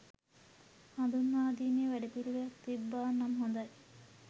හඳුන්වාදීමේ වැඩපිළිවෙලක් තිබ්බා නම් හොඳයි.